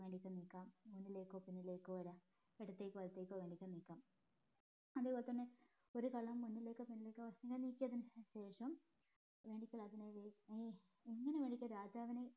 വേണെകിൽ നീക്കാം മുന്നിലേക്കോ പിന്നിലേക്കോ വര ഇടത്തേക്കോ വലത്തേക്കോ വേണെങ്കിൽ നീക്കാം അതേപോലെ തന്നെ ഒരു കരു മുന്നിലേക്കോ പിന്നിലേക്കോ നീക്കിയതിന് ശേഷം വേണെങ്കിൽ അതിനെ എങ്ങനെ വേണെകിലും രാജാവിനെ